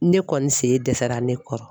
Ne kɔni sen dɛsɛra ne kɔrɔ.